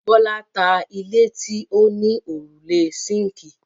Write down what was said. Bọ́lá ta ilé tí ó ní òrùlé síńkì.